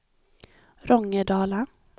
Rångedala